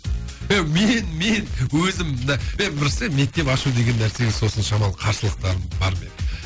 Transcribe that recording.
еу мен мен өзім і дұрыс мектеп ашу деген нәрсеге сосын шамалы қарсылықтарым бар менің